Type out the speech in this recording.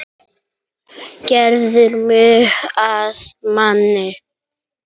Gerðir mig að manni.